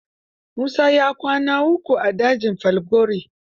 Musa ya kwana uku a dajin Falgore.